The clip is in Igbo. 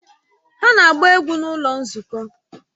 Ha na-agba egwu n'ụlọ nzukọ